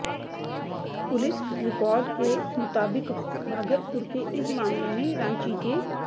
police record के मुताबिक भागलपुर के इस मामले में रांची के